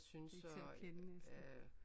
Det er ikke til at kende næsten